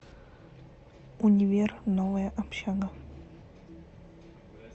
универ новая общага